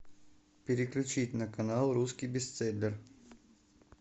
переключить на канал русский бестселлер